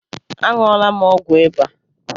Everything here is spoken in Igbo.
A ṅụọla m ọgwụ ịba